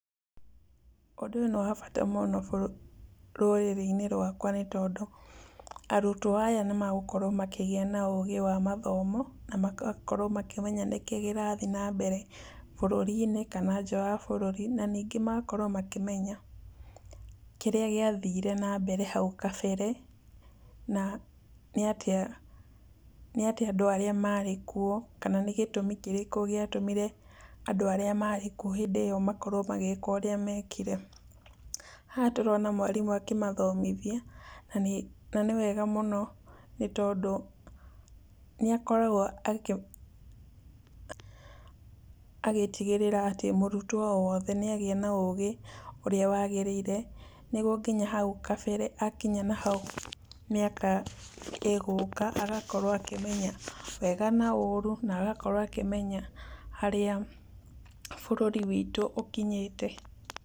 Ũndũ ũyũ nĩ wabata mũno bũrũri, rũrĩrĩ-inĩ rwakwa, nĩ tondũ arutwo aya nĩ megũkorwo makĩgĩa na ũgĩ wa mathomo, na magakorwo makĩmenya nĩkĩ kĩrathiĩ na mbere burũri-inĩ, kana nja wa bũrũri, na ningĩ magakorwo makĩmenya kĩrĩa gĩathire na mbere hau gabere, na nĩ atĩa, nĩ atĩa andũ arĩa marĩ kuo, kana nĩ gĩtũmi kĩrĩkũ gĩatũmire andũ arĩa marĩ kuo hĩndĩyo makorwo magĩka ũrĩa mekire. Haha tũrona mwarĩmũ akĩmathomithia, na nĩ, na nĩ wega mũno, nĩ tondũ nĩ akoragwo akĩ, agĩtigĩrĩra atĩ mũrutwo wothe nĩ agĩa na ũgĩ ũrĩa wagĩrĩire, nĩguo nginya hau kabere, akinya nahau mĩaka ĩgũka, agakorwo akĩmenya wega na ũru, na gakorwo akĩmenya harĩa bũrũri witũ ũkinyĩte.